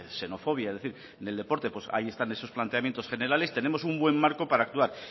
xenofobia en el deporte pues ahí están esos planteamientos generales tenemos un buen marco para actuar